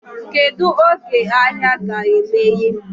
Kedụ oge ahịa ga emeye?